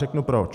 Řeknu proč.